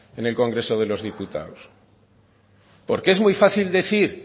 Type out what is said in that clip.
en el congreso de los diputados porque es muy fácil decir